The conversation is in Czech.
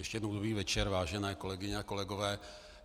Ještě jednou dobrý večer, vážené kolegyně a kolegové.